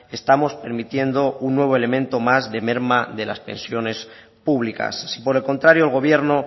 estamos permitiendo un nuevo elemento más de merma de las pensiones públicas si por el contrario el gobierno